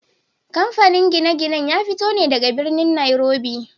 Kamfanin gine-ginen ya fito ne daga birnin Nairobi.